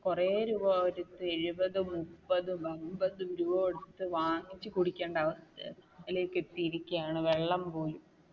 കുറെ രൂപ കൊടുത്തു എഴുപതു മുപ്പത് അൻപതും രൂപ കൊടുത്തു വാങ്ങിച്ചു കുടിക്കേണ്ട അവസ്ഥയാണ്. അതിലേക്ക് എത്തിയിരിക്കുകയാണ് വെള്ളം പോലും